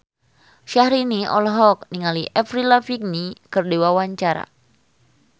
Syahrini olohok ningali Avril Lavigne keur diwawancara